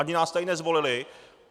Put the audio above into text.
Ani nás tady nezvolili.